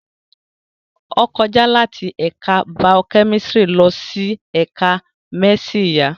Ó kọjá láti ẹ̀ka baokẹ́mísírì lọ sí ẹ̀ka mdísì ìyá